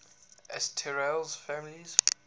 asterales families